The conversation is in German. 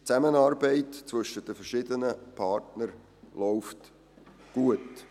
Die Zusammenarbeit zwischen den verschiedenen Partnern läuft gut.